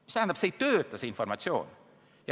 See tähendab, et selline süsteem ei toimi.